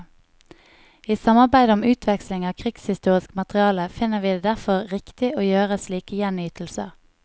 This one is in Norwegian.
I samarbeide om utveksling av krigshistorisk materiale finner vi det derfor riktig å gjøre slike gjenytelser.